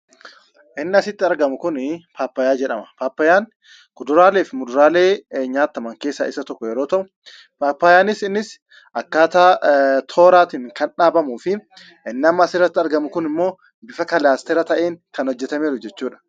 Inni asitti argamu kunii paappayyaa jedhama. Paappayyaan kuduraalee fi muduraalee nyaattaman keessaa isa tokko yeroo ta'u paappayyaanis innis akkaataa tooraatiin kan dhaabamuu fi inni amma asirratti argamu kun immoo bifa kalaastera ta'een kan hojjetameeru jechuudha.